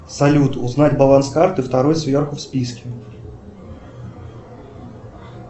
салют узнать баланс карты второй сверху в списке